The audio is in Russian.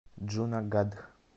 джунагадх